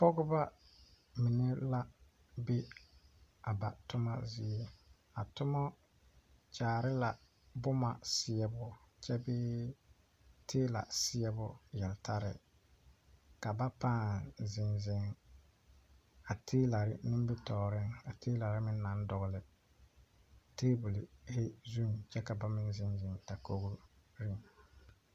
Pɔgeba mine la be a ba tuma zie a tuma kyaare la boma seɛbo kyɛ bee teela seɛbo yeltaare, ka ba paa zeŋ zeŋ a teelare nimitɔɔre a teelare meŋ naŋ dogle tabol zuŋ kyɛ ka ba meŋ zeŋ zeŋ dakogri.